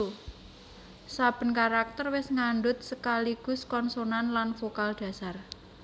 Saben karakter wis ngandhut sekaligus konsonan lan vokal dhasar